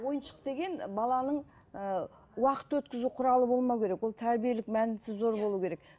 ойыншық деген баланың ыыы уақыт өткізу құралы болмауы керек ол тәрбиелік мәнісі зор болу керек